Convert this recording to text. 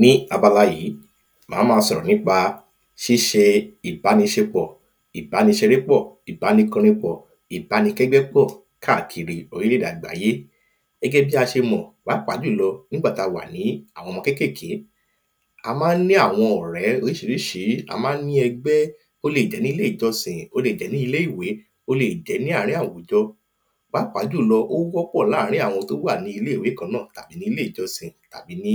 Ní abala yìí, màá ma sọ̀rọ̀ nípa ṣíṣe ìbánisepò, ìbániseré pọ̀, ìbánikóni pọ̀, ìbánikẹ́gbẹ́ pọ̀, káàkiri orílẹ̀-èdè àgbáyé. Gẹ́gẹ́ bí a ṣe mọ̀, pàápàá jùlọ nígbà tí a wà ní àwọn ọmọ kékèké, a ma ń ní àwọn ọ̀rẹ́ orísirísi, a ma ń ní ẹgbẹ́, ó lè jẹ́ ní ilé ìjọsìn, ó lè jẹ́ ní ilé ìwé, ó lè jẹ́ ní àárín àwùjọ. Pàápàá jùlọ ó wọ́ pọ̀ láàrin àwọn tó wà ní ilé-ìwé kan náà, tàbí ní ilé-ìjọsìn, tàbí ní